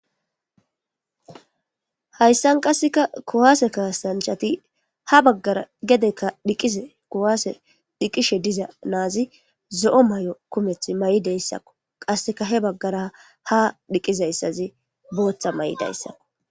hayssan qasseka kuwaase kahasanchati ha baggara gedekka dhiqize kuwaase dhiqishe diza naazi zo'o mayo kumeth mayideyssakko qasseka he baggara ha dhiqizayssazi booththa mayidayssakko